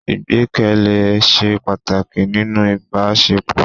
Ìgbẹ́kẹ̀lé se pàtàkì nínú ìbásepọ